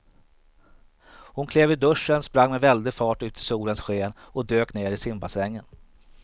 Hon klev ur duschen, sprang med väldig fart ut i solens sken och dök ner i simbassängen.